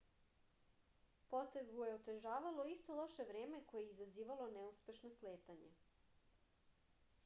potragu je otežavalo isto loše vreme koje je i izazvalo neuspešno sletanje